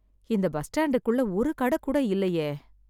இந்த பஸ் ஸ்டாண்டுக்குள்ள ஒரு கடை கூட இல்லையே.